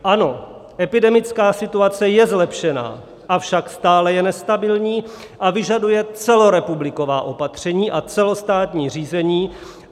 Ano, epidemická situace je zlepšená, avšak stále je nestabilní a vyžaduje celorepubliková opatření a celostátní řízení.